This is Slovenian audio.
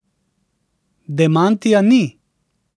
Demantija ni.